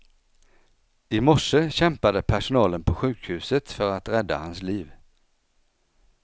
I morse kämpade personalen på sjukhuset för att rädda hans liv.